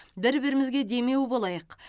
бір бірімізге демеу болайық